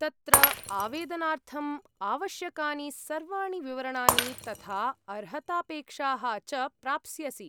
तत्र आवेदनार्थम् आवश्यकानि सर्वाणि विवरणानि, तथा अर्हतापेक्षाः च प्राप्स्यसि।